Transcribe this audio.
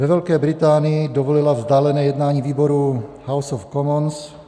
Ve Velké Británii dovolila vzdálené jednání výborů House of Commons.